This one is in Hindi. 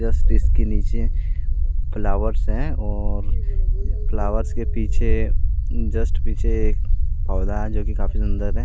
स्टेज के नीचे फ्लावर्स है और फ्लावर्स के पीछे जस्ट पीछे एक पौधा है जोकि काफी सुंदर है।